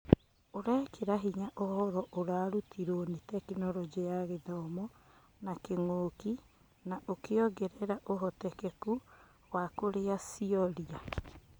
ũrekĩra hinya ũhoro ũrarũtirwo nĩ Tekinoronjĩ ya Gĩthomo na kĩng'ũki na ũkĩongerera ũhotekeku wa kũrĩa cioria.